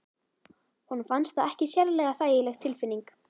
Honum fannst það ekki sérlega þægileg tilfinning.